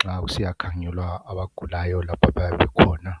nxa kusiyakhangelwa abagulayo lapho abayabe bekhona.